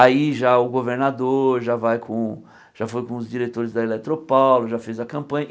Aí já o governador já vai com o já foi com os diretores da Eletropaulo, já fez a campanha.